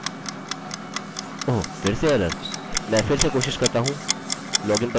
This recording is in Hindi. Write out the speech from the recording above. मैं इस फॉर्म को फिर से जमा करता हूँ और लॉगिन ओह! फिर से एरर!